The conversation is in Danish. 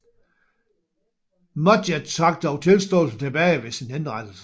Mudgett trak dog tilståelsen tilbage ved sin henrettelse